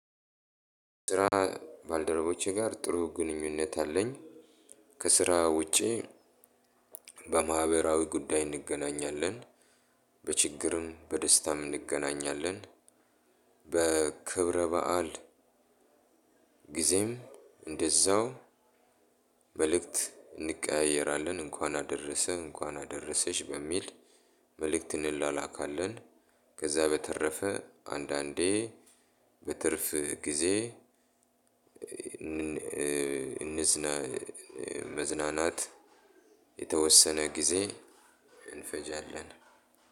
ስራ ባልደረቦቼ ጋር ጥሩ ግንኙነት አለኝ። ከስራ ውጪ በማህበራዊ ጉዳይ እንገናኛለን። በችግርም በደስታም እንገናኛለን። በክብረበዓል ጊዜም እንደዛው መልእክት እንቀያየራለን እንኳን አደረሰህ እንኳን አደረሰሽ በሚል መልእክት እንላላካለን። ከዛ በተረፈ አንዳንዴ ቤ ትርፍ ጊዜ እ እንዝና መዝናናት የተወሰነ ጊዜ እንፈጃለን።